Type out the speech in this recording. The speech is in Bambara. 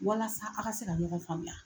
Walasa a ka se ka ɲɔgɔn faamuya.